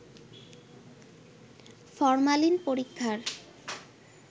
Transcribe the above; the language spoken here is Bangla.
ফরমালিন পরীক্ষার